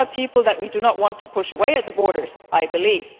Those are people that we do not want to push away at the borders, I believe.